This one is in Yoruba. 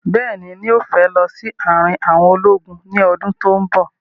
Bẹ́ẹ̀ni, yóò fẹ́ lọ sí àrin àwọn ológun ní ọdún tí ó bọ̀